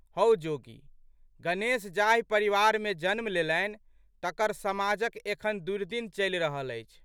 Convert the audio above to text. हौ जोगी! गणेश जाहि परिवारमे जन्म लेलनि तकर समाजक एखन दुर्दिन चलि रहल अछि।